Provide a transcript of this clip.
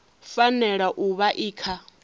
fanela u vha i kha